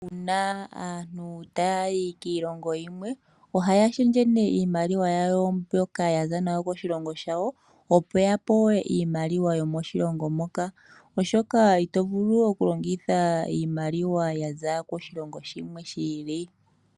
Uuna aantu tayayi kiilongo yilwe ohaya shendje iimaliwa yawo mbyoka yaza nayo koshilongo shawo opo yapewe iimaliwa yomoshilongo moka oshoka itovulu oku longitha iimaliwa yaza koshilongo shimwe shi ili.